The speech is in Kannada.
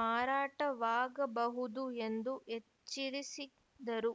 ಮಾರಾಟವಾಗಬಹುದು ಎಂದು ಎಚ್ಚರಿಸಿದರು